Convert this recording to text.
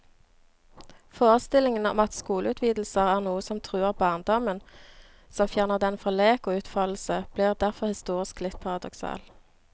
Forestillingen om at skoleutvidelser er noe som truer barndommen, som fjerner den fra lek og utfoldelse, blir derfor historisk litt paradoksal.